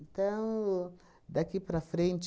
Então, daqui para frente,